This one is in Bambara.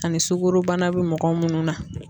Ani sugoro bana be mɔgɔ munnu na